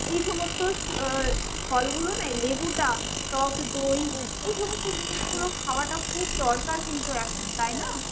এইসমস্ত ফলগুলো না লেবুটা, টক দই এইসমস্ত জিনিসগুলো খুব দরকার কিন্তু এখন, তাই না?